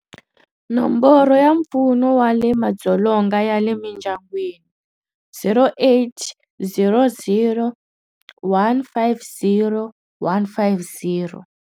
Nomboro ya Mpfuno wa Madzolonga ya le Mindyangwini- 0800 150 150.